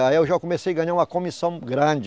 Aí eu já comecei a ganhar uma comissão grande.